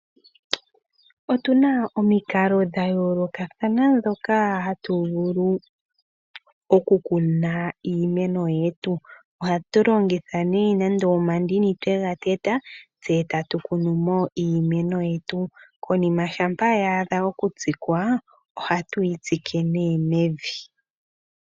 Otu na omikalo dha yoolokathana ndhoka hatu vulu okukuna iimeno yetu. Ohatu longitha nee nande omandini twe ga teta, tse tatu kunu mo iimeno yetu. Konima shampa ya adha okutsikwa, ohatu yi tsike nee mevi.